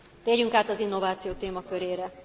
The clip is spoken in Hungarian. Térjünk át az innováció témakörére.